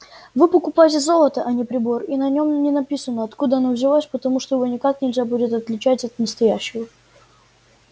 вы покупаете золото а не прибор и на нём не написано откуда оно взялось потому что его никак нельзя будет отличать от настоящего